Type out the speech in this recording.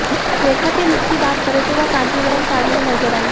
रेखा के लुक की बात करें तो वह कांजीवरम साड़ी में नजर आईं